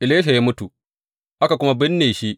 Elisha ya mutu, aka kuma binne shi.